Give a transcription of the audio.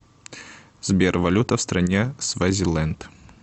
сбер валюта в стране свазиленд